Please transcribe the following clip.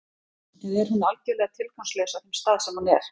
Eða er hún algjörlega tilgangslaus á þeim stað sem hún er?